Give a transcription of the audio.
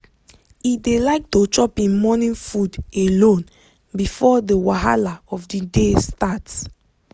e dey like to chop em morning food alone before the wahala of the day start.